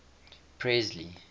presley